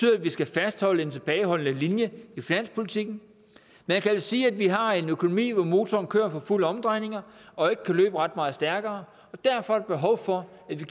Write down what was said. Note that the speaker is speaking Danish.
at vi skal fastholde en tilbageholdende linje i finanspolitikken man kan jo sige at vi har en økonomi hvor motoren kører for fulde omdrejninger og ikke kan løbe ret meget stærkere og derfor er der behov for at vi